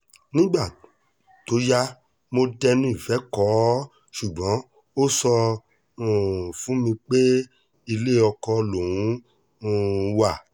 nígbà tó yá mo dẹnu ìfẹ́ kó o ṣùgbọ́n ó sọ um fún mi pé ilé oko lòún um wà